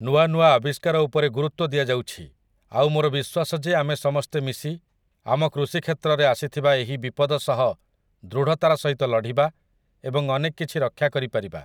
ନୂଆ ନୂଆ ଆବିଷ୍କାର ଉପରେ ଗୁରୁତ୍ୱ ଦିଆଯାଉଛି, ଆଉ ମୋର ବିଶ୍ୱାସ ଯେ ଆମେ ସମସ୍ତେ ମିଶି ଆମ କୃଷିକ୍ଷେତ୍ରରେ ଆସିଥିବା ଏହି ବିପଦ ସହ ଦୃଢ଼ତାର ସହିତ ଲଢ଼ିବା ଏବଂ ଅନେକ କିଛି ରକ୍ଷା କରିପାରିବା ।